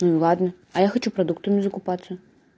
ну и ладно а я хочу продуктами закупаться